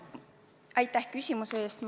Aitäh küsimuse eest!